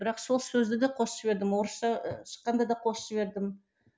бірақ сол сөзді де қосып жібердім орысша шыққанда да қосып жібердім